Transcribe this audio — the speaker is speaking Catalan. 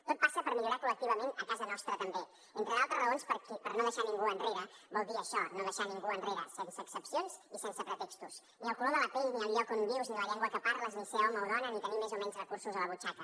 tot passa per millorar col·lectivament a casa nostra també entre d’altres raons perquè no deixar ningú enrere vol dir això no deixar ningú enrere sense excepcions i sense pretextos ni el color de la pell ni el lloc on vius ni la llengua que parles ni ser home o dona ni tenir més o menys recursos a la butxaca